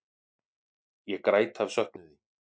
Ég græt af söknuði.